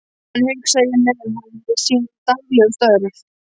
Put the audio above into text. Þannig hugsaði ég mér hann við sín daglegu störf.